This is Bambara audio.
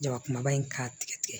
Jaba kumaba in k'a tigɛ tigɛ